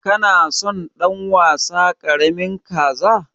Kana son dan wasa karamin kaza?